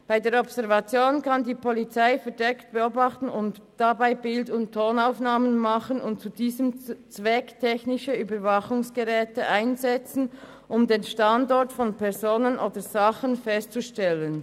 Bei der Observation kann die Polizei verdeckt beobachten, dabei Bild- und Tonaufnahmen machen und zu diesem Zweck technische Überwachungsgeräte einsetzen, um den Standort von Personen oder Sachen festzustellen.